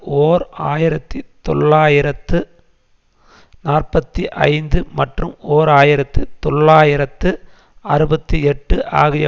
ஓர் ஆயிரத்தி தொள்ளாயிரத்து நாற்பத்தி ஐந்து மற்றும் ஓர் ஆயிரத்து தொள்ளாயிரத்து அறுபத்தி எட்டு ஆகிய